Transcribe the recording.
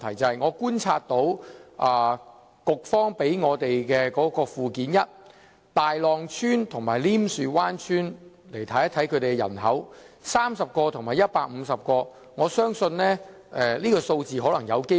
根據當局提供的附件一，大浪村和稔樹灣村的人口分別是30人和150人，我相信數字有可能被低估。